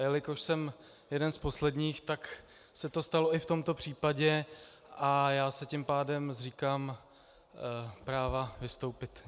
A jelikož jsem jeden z posledních, tak se to stalo i v tomto případě a já se tím pádem zříkám práva vystoupit.